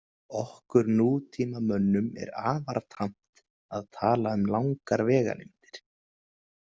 Okkur nútímamönnum er afar tamt að tala um langar vegalengdir.